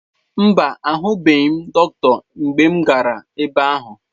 Mba, ahụghị m dọkịta mgbe m gara ebe ahụ.